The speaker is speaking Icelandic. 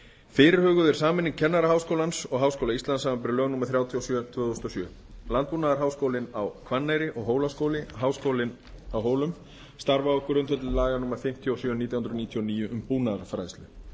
fyrirhuguð er sameining kennaraháskólans og háskóla íslands samanber lög númer þrjátíu og sjö tvö þúsund og sjö landbúnaðarháskólinn á hvanneyri og hólaskóli háskólinn á hólum starfa á grundvelli laga númer fimmtíu og sjö nítján hundruð níutíu og níu um búnaðarfræðslu